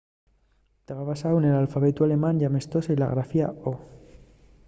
taba basáu nel alfabetu alemán y amestóse-y la grafía õ/õ